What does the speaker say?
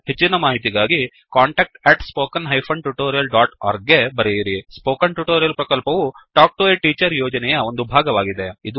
ಹೆಚ್ಚಿನ ಮಾಹಿತಿಗಾಗಿ contactspoken tutorialorg ಗೆ ಬರೆಯಿರಿ ಸ್ಪೋಕನ್ ಟ್ಯುಟೋರಿಯಲ್ ಪ್ರಕಲ್ಪವು ಟಾಕ್ ಟು ಎ ಟೀಚರ್ ಯೋಜನೆಯ ಒಂದು ಭಾಗವಾಗಿದೆ